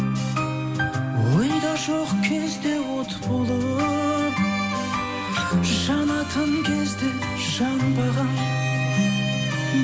ойда жоқ кезде от болып жанатын кезде жанбаған